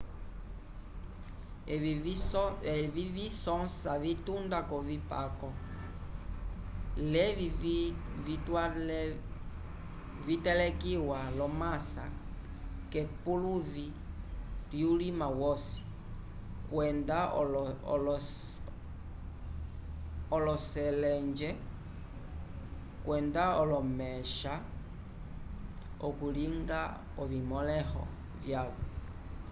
evi visõsa vitunda k'ovipako lelvi vyatelekiwa l'omasa k'epuluvi lyulima wosi kwenda oloseleja kwenda olomexa okulinga ovimõleho vyavo